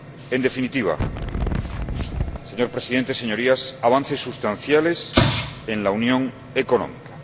En definitiva, señor Presidente, Señorías, avances sustanciales en la unión económica.